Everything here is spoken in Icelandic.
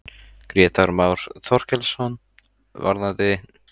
Grétar Már Þorkelsson: Varðandi?